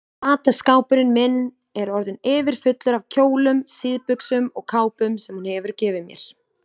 Fataskápurinn minn er orðinn yfirfullur af kjólum, síðbuxum og kápum sem hún hefur gefið mér.